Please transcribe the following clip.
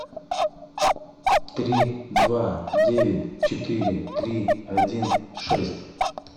три два девять четыре три один шесть